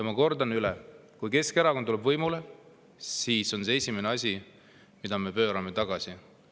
Ma kordan üle: kui Keskerakond tuleb võimule, siis see on esimene asi, mille me pöörame tagasi.